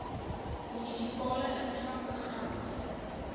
munisipale infra programme